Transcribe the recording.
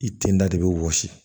I tin da de be wɔsi